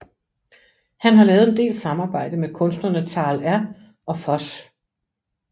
Han har lavet en del samarbejde med kunstnerne Tal R og Fos